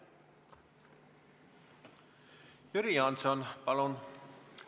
Jüri Jaaanson, palun!